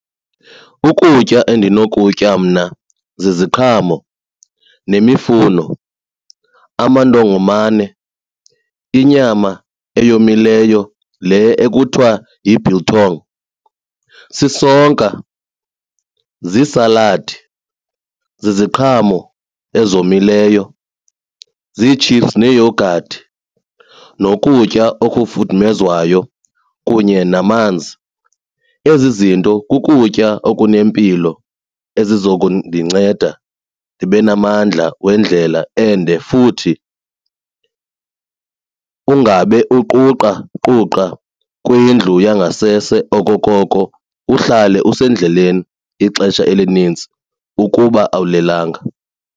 Ukutya endinokutya mna ziziqhamo nemifuno, amantongomane, inyama eyomileyo le ekuthiwa yi-biltong, sisonka, ziisaladi, ziziqhamo ezomileyo, ziithipsu neeyogathi, nokutya okufudumezwayo kunye namanzi. Ezi zinto kukutya okunempilo ezizokundinceda ndibe namandla wendlela ende futhi ungabe uquqaquqa kwindlu yangasese okokoko uhlale usendleleni ixesha elinintsi ukuba awulelanga.